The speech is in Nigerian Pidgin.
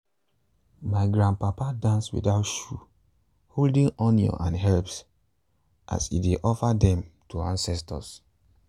my grandpapa dance without shoe holding onions and herbs as e dey offer them to ancestors.